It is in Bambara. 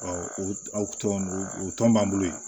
o tɔn o tɔn b'an bolo yen